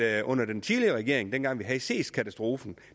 at under den tidligere regering dengang vi havde seestkatastrofen